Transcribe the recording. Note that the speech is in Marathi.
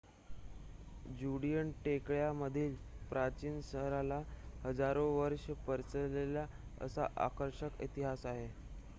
ज्युडीयन टेकड्या मधील प्राचीन शहराला हजारो वर्ष पसरलेला असा आकर्षक इतिहास आहे